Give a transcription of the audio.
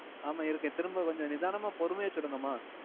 ஆமாம் இருக்கேன். திரும்ப கொஞ்சம் நிதான்னமா பொறுமையா சொல்லுங்கம்மா.